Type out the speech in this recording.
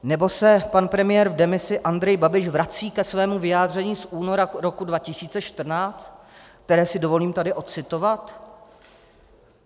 Nebo se pan premiér v demisi Andrej Babiš vrací ke svému vyjádření z února roku 2014, které si dovolím tady ocitovat?